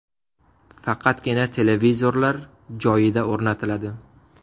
Faqatgina televizorlar joyida o‘rnatiladi .